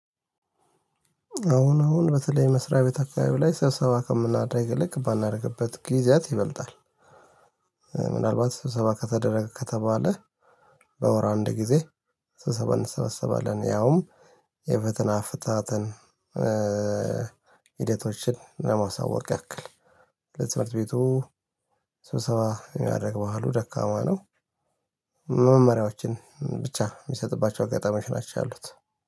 አሁን አሁን በተለይ መስሪያ ቤት አካባቢ ላይ ሰብሰባ ከምናደርግ ይልቅ የማናደርግበት ጊዜያት ይበልጣል። ምናልባት ስብሰባ ከተደረገ ከተባለ። በወር አንድ ጊዜ ስብሰባ እንሰበሰባለን ያውም የፈተና አፈታተን ሂደቶችን ለማሳወቅ ያክል። ለትምህርት ቤቱ ስብሰባ የማደረግ ባህሉ ደካማ ነው። መመሪያዎችን ብቻ የሚሰጥባቸው አጋጣሚዎች ናቸው ያሉት